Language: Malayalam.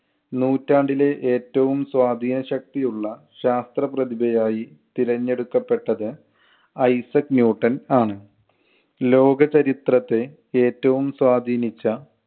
നൂറ്റാണ്ടിലെ ഏറ്റവും സ്വാധീന ശക്തിയുള്ള ശാസ്ത്രപ്രതിഭയായി തിരഞ്ഞെടുക്കപ്പെട്ടത് ഐസക് ന്യൂട്ടൻ ആണ്. ലോക ചരിത്രത്തെ ഏറ്റവും സ്വാധീനിച്ച